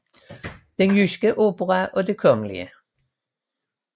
Den Jyske Opera og Det Kgl